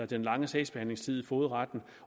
den lange sagsbehandlingstid i fogedretten